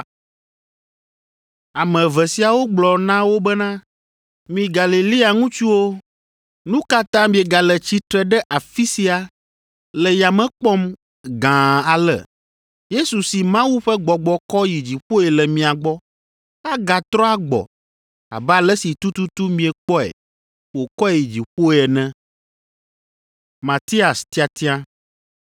Ame eve siawo gblɔ na wo bena, “Mi Galilea ŋutsuwo, nu ka ta miegale tsitre ɖe afi sia le yame kpɔm gãa ale? Yesu si Mawu ƒe gbɔgbɔ kɔ yi dziƒoe le mia gbɔ, agatrɔ agbɔ abe ale si tututu miekpɔe wokɔe yi dziƒoe ene.”